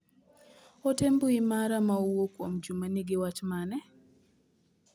Ote mbui mara ma owuok kuom Juma nigi wach mane?